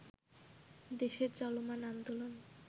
দেশের চলমান আন্দোলন